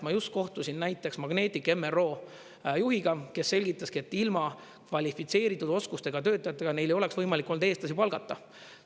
Ma just kohtusin näiteks Magnetic MRO juhiga, kes selgitaski, et ilma kvalifitseeritud oskustega töötajatega neile oleks võimalik olnud eestlasi palgata.